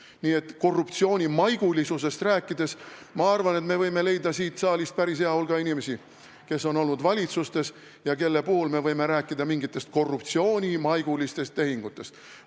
Kui korruptsioonimaigulisusest rääkida, siis ma arvan, et me võime leida siit saalist päris hea hulga inimesi, kes on olnud valitsuses ja kelle puhul me võime rääkida mingitest korruptsioonimaigulistest tehingutest.